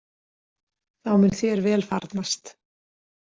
Þá mun þér vel farnast.